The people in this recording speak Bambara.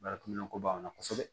Baarakɛminɛnko b'an na kosɛbɛ